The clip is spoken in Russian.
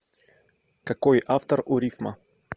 какой автор у рифма